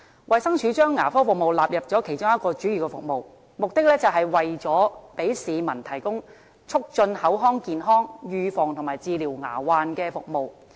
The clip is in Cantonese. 衞生署將牙科納入其主要服務項目之一，旨在為市民提供促進口腔健康、預防及治療牙患的服務。